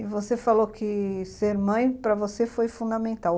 E você falou que ser mãe para você foi fundamental.